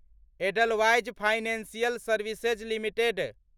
Edelweiss financial services limited